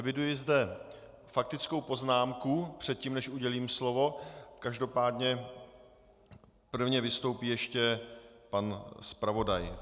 Eviduji zde faktickou poznámku, předtím než udělím slovo, každopádně prvně vystoupí ještě pan zpravodaj.